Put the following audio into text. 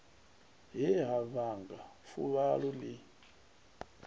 he ha vhanga fuvhalo ḽi